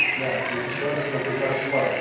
иә өкінішке қарай сондай көзқарас бар